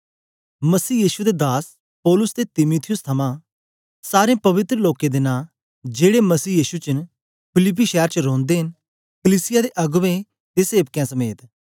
मसीह यीशु दे दास पौलुस ते तीमुथियुस थमां सारें पवित्र लोकें दे नां जेड़े मसीह यीशु च न फिलिप्पी शैर च रौंदे न कलीसिया दे अगबें ते सेवकें समेत